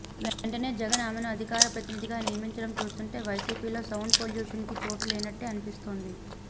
వెంటనే జగన్ ఆమెని అధికార ప్రతినిధిగా నియమించడం చూస్తుంటే వైసీపీ లో సౌండ్ పొల్యూషన్ కి చోటు లేనట్టే అనిపిస్తోంది